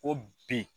Ko bi